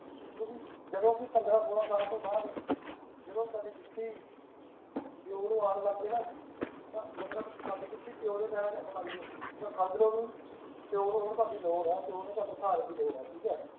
ਤੁਸੀਂ ਜਦੋਂ ਕਿ ਪੰਦ੍ਰਹ ਸੋਲਾਂ ਸਾਲ ਤੋਂ ਬਾਅਦ ਜਦੋਂ ਤੁਹਾਡੀ ਜੁੱਤੀ ਪਿਓ ਨੂੰ ਆਉਣ ਲੱਗ ਜਾਏ ਨਾ ਤਾਂ ਮਤਲਬ ਤੁਹਾਡੀ ਜੁੱਤੀ ਪਿਓ ਦੇ ਪੈਰਾਂ ਚ ਆਣ ਲੱਗ ਜਾਏ ਤਾਂ ਸਮਝ ਲਓ ਬਈ ਪਿਓ ਨੂੰ ਹੁਣ ਤੁਹਾਡੀ ਲੋੜ ਆ ਪਿਓ ਨੂੰ ਤੁਹਾਡੇ ਸਹਾਰੇ ਦੀ ਲੋੜ ਆ ਠੀਕ ਐ